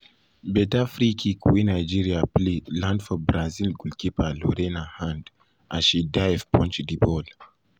um beta free kick wey nigeria play land for brazil goalkeeper lorena hand as she dive punch di ball.